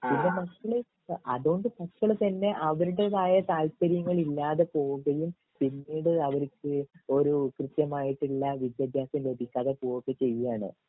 പിന്നെ മക്കൾ അതോണ്ട് മക്കൾതന്നെ അവരുടേതായ താല്പര്യങ്ങൾ ഇല്ലാതെ പോവുകയും പിന്നീട് അവർക്ക് ഒരു കൃത്യമായിട്ടുള്ള വിദ്യഭ്യാസം ലഭിക്കാതെ ചെയ്യേണ്